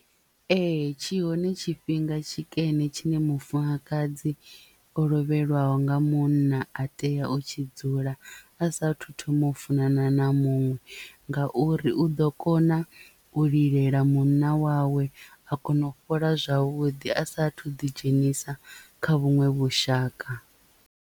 Ee tshi hone tshifhinga tshikene tshine mufumakadzi o lovhelwaho nga munna a tea u tshi dzula a sathu thoma u funana na muṅwe ngauri u ḓo kona u lilela munna wawe a kona u fhola zwavhuḓi a sathu ḓi dzhenisa kha vhuṅwe vhushaka.